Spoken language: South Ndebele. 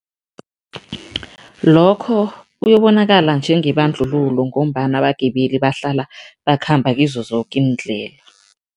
Lokho kuyobonakala njengebandlululo ngombana abagibeli bahlala bakhamba kizo zoke iindlela.